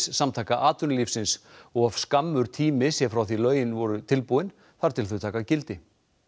Samtaka atvinnulífsins of skammur tími sé frá því lögin voru tilbúin þar til þau taka gildi